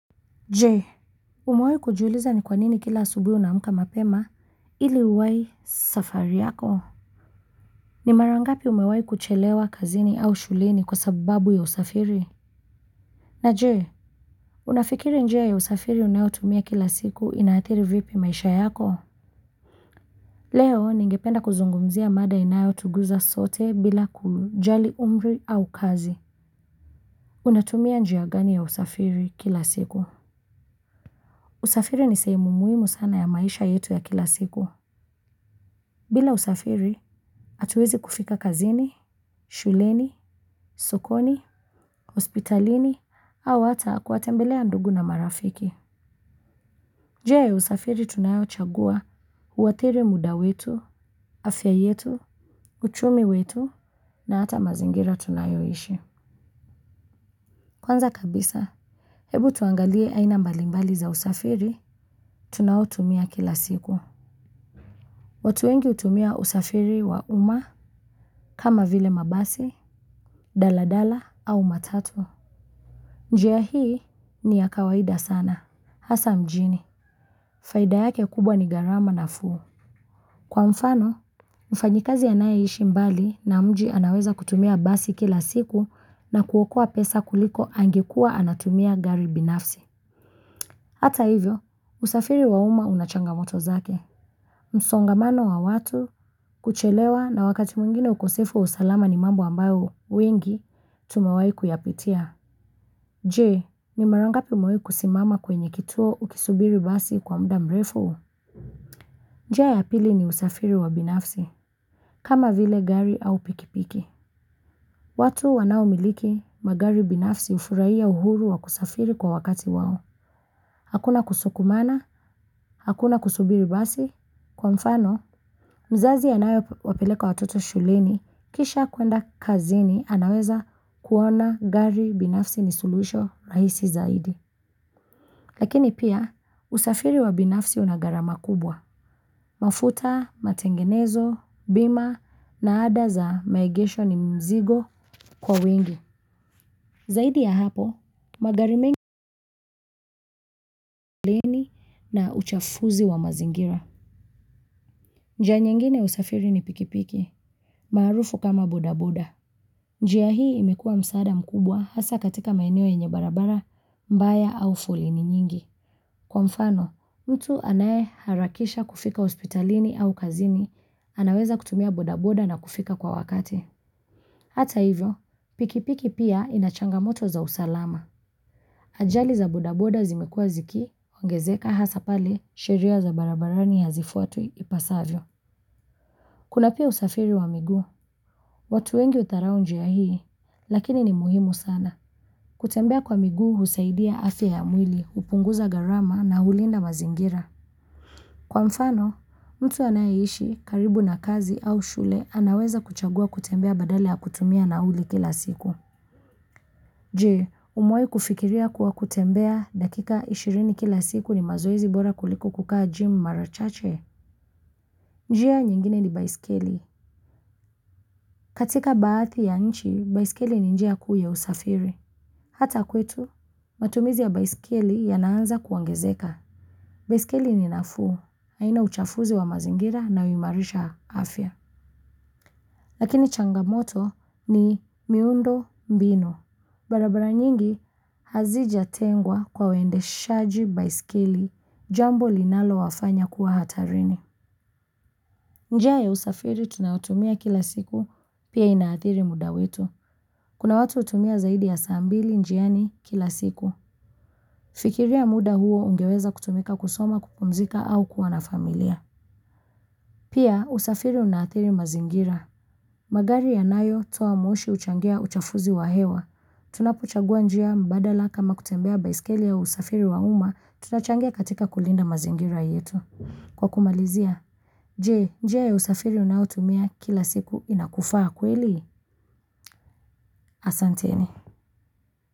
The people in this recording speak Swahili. Je, umewahi kujuliza ni kwanini kila asubuhi una amka mapema ili uwai safari yako? Ni mara ngapi umewahi kuchelewa kazini au shuleni kwa sababu ya usafiri? Na je, unafikiri njia ya usafiri unayotumia kila siku ina athiri vipi maisha yako? Leo, ningependa kuzungumzia mada inayotuguza sote bila kujali umri au kazi. Unatumia njia gani ya usafiri kila siku? Usafiri ni sehemu muhimu sana ya maisha yetu ya kila siku. Bila usafiri, hatuwezi kufika kazini, shuleni, sokoni, hospitalini au hata kuwatembelea ndugu na marafiki. Njia ya usafiri tunayo chagua huathiri muda wetu, afya yetu, uchumi wetu na hata mazingira tunayo ishi. Kwanza kabisa, hebu tuangalie aina mbalimbali za usafiri tunaotumia kila siku. Watu wengi hutumia usafiri wa uma kama vile mabasi, daladala au matatu. Njia hii ni ya kawaida sana. Hasa mjini, faida yake kubwa ni gharama nafuu. Kwa mfano, mfanyikazi anaye ishi mbali na mji anaweza kutumia basi kila siku na kuokoa pesa kuliko angekuwa anatumia gari binafsi. Hata hivyo, usafiri wa uma una changamoto zake. Msongamano wa watu kuchelewa na wakati mwingine ukosefu wa usalama ni mambo ambayo wengi tumewahi kuyapitia. Je, ni marangapi umawai kusimama kwenye kituo ukisubiri basi kwa muda mrefu? Njia ya pili ni usafiri wa binafsi kama vile gari au pikipiki watu wanao miliki magari binafsi hufurahia uhuru wa kusafiri kwa wakati wao hakuna kusukumana, hakuna kusubiri basi, kwa mfano, mzazi anaye wapeleka watoto shuleni, kisha kuenda kazini, anaweza kuona gari binafsi ni suluhisho rahisi zaidi. Lakini pia, usafiri wa binafsi una gharama kubwa. Mafuta, matengenezo, bima, na ada za maegesho ni mzigo kwa wengi. Zaidi ya hapo, magari mengi na uchafuzi wa mazingira. Nja nyingine ya usafiri ni pikipiki, maarufu kama bodaboda. Njia hii imekua msaada mkubwa hasa katika maeneo yenye barabara, mbaya au foleni nyingi. Kwa mfano, mtu anaye harakisha kufika hospitalini au kazini, anaweza kutumia bodaboda na kufika kwa wakati. Hata hivyo, pikipiki pia ina changamoto za usalama. Ajali za bodaboda zimekua zikiongezeka hasa pale sheria za barabarani hazifuatwi ipasavyo. Kuna pia usafiri wa miguu. Watu wengi hudharau njia hii, lakini ni muhimu sana. Kutembea kwa miguu husaidia afya ya mwili, hupunguza gharama na hulinda mazingira. Kwa mfano, mtu anayeishi karibu na kazi au shule, anaweza kuchagua kutembea badala ya kutumia nauli kila siku. Je, umewahi kufikiria kua kutembea dakika ishirini kila siku ni mazoezi bora kulikobkukaa gym mara chache? Njia nyingine ni baisikeli. Katika baadhi ya nchi, baisikeli ni njia kuu ya usafiri. Hata kwetu, matumizi ya baiskeli yana anza kuongezeka baisikeli ni nafuu, haina uchafuzi wa mazingira na huimarisha afya. Lakini changamoto ni miundo mbinu. Barabara nyingi hazijatengwa kwa waendeshaji baiskeli, jambo linalo wafanya kuwa hatarini. Njia ya usafiri tunayotumia kila siku pia inaathiri muda wetu. Kuna watu hutumia zaidi ya saa mbili njiani kila siku. Fikiria muda huo ungeweza kutumika kusoma kupumzika au kuwa na familia. Pia, usafiri una athiri mazingira. Magari yanayo toa moshi huchangia uchafuzi wa hewa. Tunapo chagua njia mbadala kama kutembea, baiskeli au usafiri wa uma, tunachangia katika kulinda mazingira yetu. Kwa kumalizia, je, njia ya usafiri unayotumia kila siku inakufaa kweli? Asanteni.